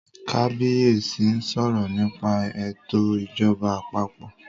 kabiyesi nsọ̀rọ nípa eto ìjọba àpapọ̀